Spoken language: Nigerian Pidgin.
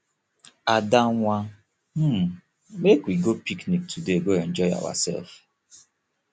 ada wan um make we go picnic today go enjoy ourselves